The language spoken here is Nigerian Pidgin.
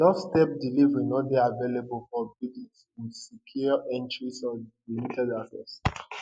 doorstep deliveries no dey available for buildings wit secure entries or limited access